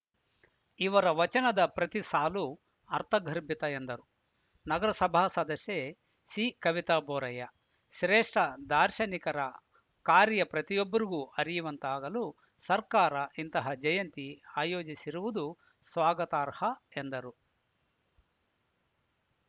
ಇವರ ವಚನದ ಪ್ರತಿ ಸಾಲು ಅರ್ಥಗರ್ಭಿತ ಎಂದರು ನಗರಸಭಾ ಸದಸ್ಯೆ ಸಿಕವಿತಾ ಬೋರಯ್ಯ ಸ್ರೇಷ್ಠ ದಾರ್ಶನಿಕರ ಕಾರ್ಯ ಪ್ರತಿಯೊಬ್ಬರಿಗೂ ಅರಿಯುವಂತಾಗಲು ಸರ್ಕಾರ ಇಂತಹ ಜಯಂತಿ ಆಯೋಜಿಸಿರುವುದು ಸ್ವಾಗತಾರ್ಹ ಎಂದರು